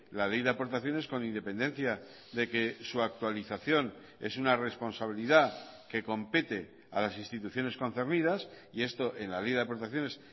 la ley de aportaciones con independencia de que su actualización es una responsabilidad que compete a las instituciones concernidas y esto en la ley de aportaciones